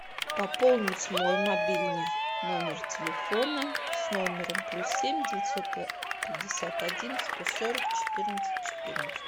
пополнить мой мобильный номер телефона с номером плюс семь девятьсот пятьдесят один сто сорок четырнадцать четырнадцать